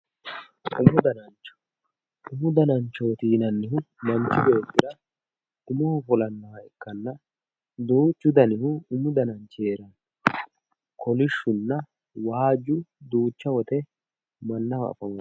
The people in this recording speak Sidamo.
umu danancho umu dananchooti yinannihu manchi beettira umoho fulannoha ikkanna duuchu danihu umu dananchi heeranno kolishshunna waajju duucha woyiite mannaho afamanno.